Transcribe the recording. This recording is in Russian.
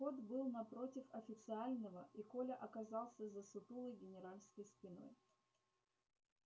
вход был напротив официального и коля оказался за сутулой генеральской спиной